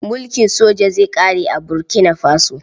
Mulkin soja zai ƙare a Burkina Faso.